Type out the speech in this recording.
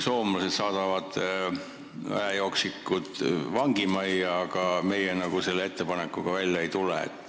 Soomlased saadavad väejooksikud vangimajja, aga meie sellise ettepanekuga välja ei tule.